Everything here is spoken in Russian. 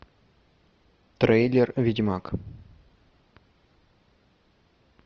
трейлер ведьмак